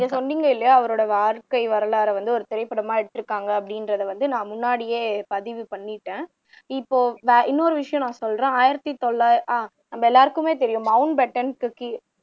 நீங்க சொன்னீங்க இல்லையா அவரோட வாழ்க்கை வரலாறை வந்து ஒரு திரைப்படமா எடுத்துருக்காங்க அப்படின்றதை வந்து நான் முன்னாடியே பதிவு பண்ணீட்டேன் இப்போ இன்னொரு விஷயம் நான் சொல்றேன் ஆயிரத்து தொள்ளாயிர உம் நம்ம எல்லாருக்குமே தெரியும் மவுண்ட் பேட்டன்